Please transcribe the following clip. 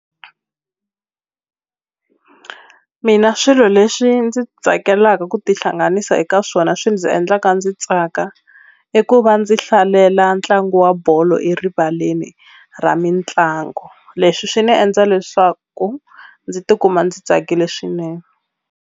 Mina swilo leswi ndzi tsakelaka ku tihlanganisa eka swona swi ndzi endlaka ndzi tsaka i ku va ndzi hlalela ntlangu wa bolo erivaleni ra mitlangu leswi swi ni e ndza leswaku ndzi ti kuma ndzi tsakile swinene.